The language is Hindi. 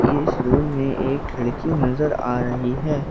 इस रूम में एक खिड़की नजर आ रही है।